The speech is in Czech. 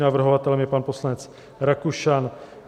Navrhovatelem je pan poslanec Rakušan.